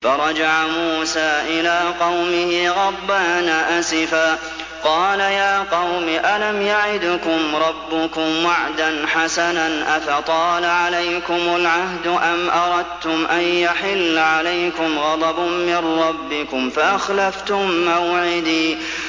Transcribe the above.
فَرَجَعَ مُوسَىٰ إِلَىٰ قَوْمِهِ غَضْبَانَ أَسِفًا ۚ قَالَ يَا قَوْمِ أَلَمْ يَعِدْكُمْ رَبُّكُمْ وَعْدًا حَسَنًا ۚ أَفَطَالَ عَلَيْكُمُ الْعَهْدُ أَمْ أَرَدتُّمْ أَن يَحِلَّ عَلَيْكُمْ غَضَبٌ مِّن رَّبِّكُمْ فَأَخْلَفْتُم مَّوْعِدِي